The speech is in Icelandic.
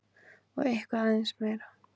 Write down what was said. Og eitthvað aðeins meira!